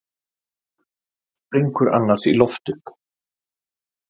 Springur annars í loft upp.